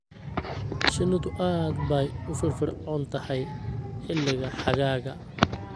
Shinnidu aad bay u firfircoon tahay xilliga xagaaga.